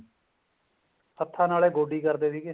ਹੱਥਾਂ ਨਾਲ ਹੀ ਗੋਡੀ ਕਰਦੇ ਸੀਗੇ